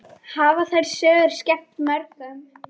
Hafa þær sögur skemmt mörgum.